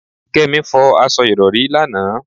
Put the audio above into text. Kémi fọ aṣọ Ìrọ̀rí lánàá.